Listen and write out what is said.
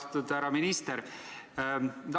Austatud härra minister!